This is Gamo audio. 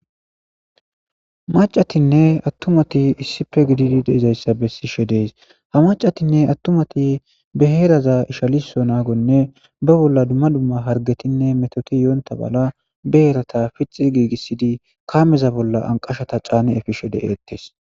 Macatinne attumati issipe gididi deezayssa bessishe dees ha macatinne attumati be heeraza ishaliso naagonne ba bolla dumma dumma hargetinne metoti yoonta mala ba heerata pixi giigissidi kaameza bolla anqashata caani efishe de7eettes.